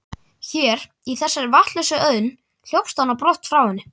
Hér, í þessari vatnslausu auðn, hljópst hann brott frá henni.